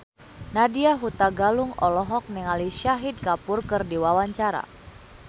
Nadya Hutagalung olohok ningali Shahid Kapoor keur diwawancara